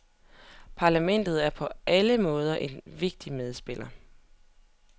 Parlamentet er på alle måder en vigtig medspiller.